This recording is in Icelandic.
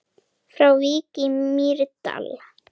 Frá Vík í Mýrdal